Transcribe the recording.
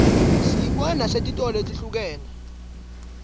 siyibona nesetitolo letihlukene